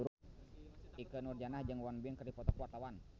Ikke Nurjanah jeung Won Bin keur dipoto ku wartawan